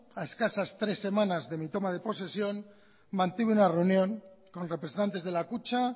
a escasas tres semanas de mi toma de posesión mantengo una reunión con representantes de la kutxa